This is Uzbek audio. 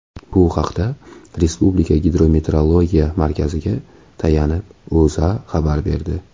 Bu haqda Respublika Gidrometeorologiya markaziga tayanib, O‘zA xabar berdi .